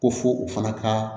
Ko fo u fana ka